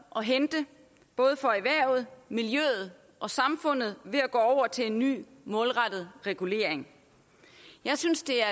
at hente både for erhvervet miljøet og samfundet ved at gå over til en ny målrettet regulering jeg synes det er